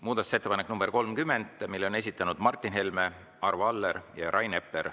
Muudatusettepaneku nr 30 on esitanud Martin Helme, Arvo Aller ja Rain Epler.